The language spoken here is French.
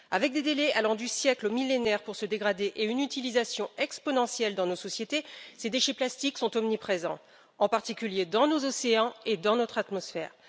Avec des délais allant du siècle au millénaire pour se dégrader, et une utilisation exponentielle dans nos sociétés, ces déchets plastiques sont omniprésents, en particulier dans nos océans et dans notre atmosphère.